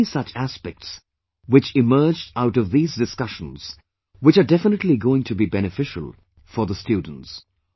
There are many such aspects which emerged out of these discussions which are definitely going to be beneficial for the students